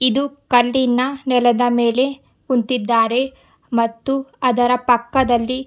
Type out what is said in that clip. ಇದು ಕಂದಿನ ನೆಲದ ಮೇಲೆ ಕುಂತಿದ್ದಾರೆ ಮತ್ತು ಅದರ ಪಕ್ಕದ್ದಲ್ಲಿ--